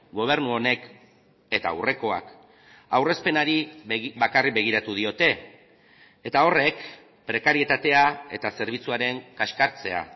gobernu honek eta aurrekoak aurrezpenari bakarrik begiratu diote eta horrek prekarietatea eta zerbitzuaren kaskartzea